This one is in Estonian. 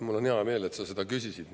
Mul on hea meel, et sa seda küsisid.